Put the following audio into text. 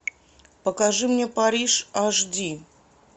покажи мне париж аш ди